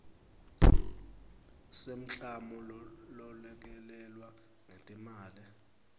semklamo lolekelelwe ngetimali